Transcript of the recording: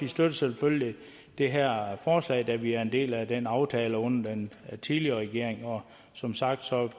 støtter selvfølgelig det her forslag da vi er en del af den aftale under den tidligere regering og som sagt